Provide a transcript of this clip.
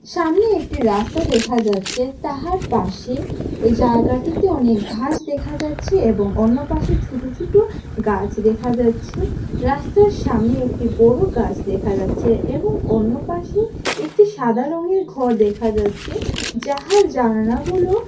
সামনে একটি রাস্তা দেখা যাচ্ছে তাহার পাশে জায়গাটিতে অনেক ঘাস দেখা যাচ্ছে এবং অন্য পাশে ছুটো ছুটো গাছ দেখা যাচ্ছে রাস্তার সামনে একটি বড় গাস দেখা যাচ্ছে এবং অন্য পাশে একটি সাদা রঙ্গের ঘর দেখা যাচ্ছে যাহার জানালাগুলো।